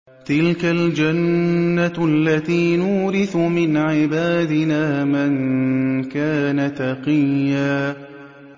تِلْكَ الْجَنَّةُ الَّتِي نُورِثُ مِنْ عِبَادِنَا مَن كَانَ تَقِيًّا